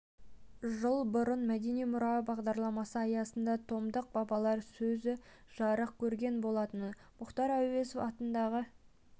жыл бұрын мәдени мұра бағдарламасы аясында томдық бабалар сөзі жарық көрген болатын мұхтар әуезов атындағы